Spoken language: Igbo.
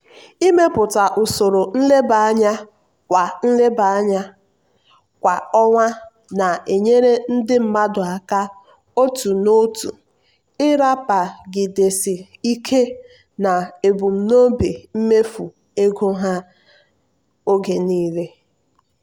ịmepụta usoro nleba anya kwa nleba anya kwa ọnwa na-enyere ndị mmadụ aka otu n'otu ịrapagidesi ike n'ebumnobi mmefu ego ha oge niile.